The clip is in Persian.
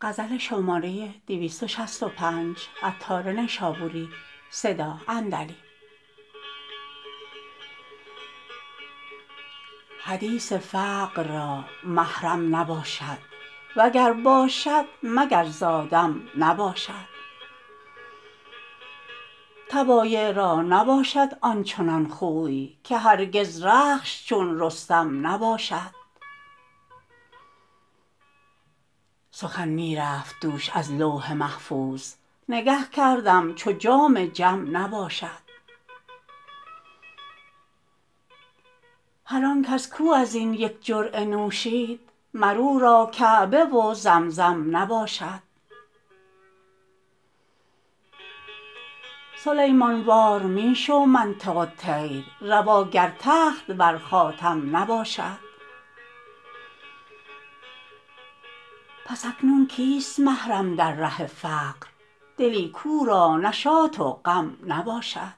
حدیث فقر را محرم نباشد وگر باشد مگر زآدم نباشد طبایع را نباشد آنچنان خوی که هرگز رخش چون رستم نباشد سخن می رفت دوش از لوح محفوظ نگه کردم چو جام جم نباشد هرآنکس کو ازین یک جرعه نوشید مر او را کعبه و زمزم نباشد سلیمان وار می شو منطق الطیر روا گر تخت ور خاتم نباشد پس اکنون کیست محرم در ره فقر دلی کو را نشاط و غم نباشد